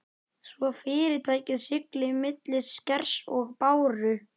svo fyrirtækið sigli milli skers og báru.